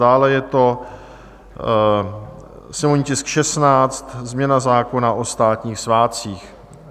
Dále je to sněmovní tisk 16, změna zákona o státních svátcích.